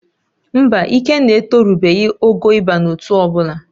Mba, Ikenna etorubeghị ogo ịba n'ótú ọbụla